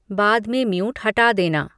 बाद में म्यूट हटा देना